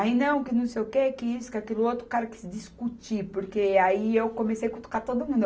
Aí, não, que não sei o quê, que isso, que aquilo outro, o cara quis se discutir, porque aí eu comecei a cutucar todo mundo.